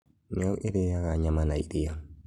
Nyau ĩrĩaga nyama na iria